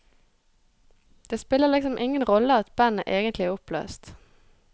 Det spiller liksom ingen rolle at bandet egentlig er oppløst.